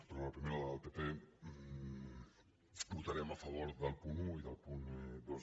però a la primera del pp votarem a favor del punt un i del punt dos